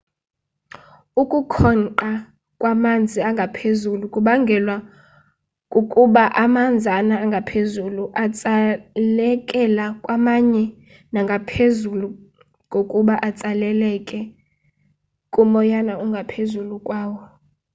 ukukhonqa kwamanzi angaphezulu kubangelwa kukuba amanzana angaphezulu atsalekela kwamanye nangaphezu kokuba atsalekele kumoyana ongaphezulu kwawo